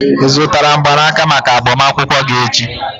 ị zụtara mgbanaka maka agbamakwụkwọ gị echi?